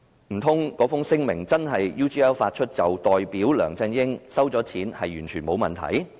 難道那份聲明真的由 UGL 發出，便代表梁振英收錢也完全沒有問題？